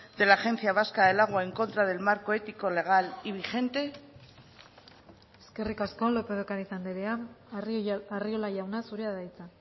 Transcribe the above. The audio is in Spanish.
de la agencia vasca del agua en contra del marco ético legal y vigente eskerrik asko lópez de ocariz andrea arriola jauna zurea da hitza